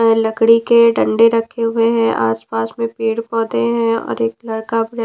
लकड़ी के डंडे रखे हुए हैं आसपास में पेड़ पौधे हैं और एक लड़का--